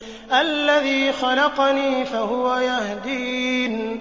الَّذِي خَلَقَنِي فَهُوَ يَهْدِينِ